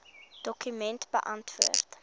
dokument beantwoord